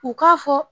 U k'a fɔ